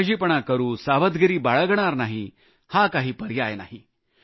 निष्काळजीपणा सावधगिरी न बाळगणं हा काही पर्याय नाही